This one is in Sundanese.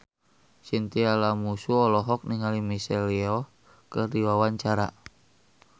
Chintya Lamusu olohok ningali Michelle Yeoh keur diwawancara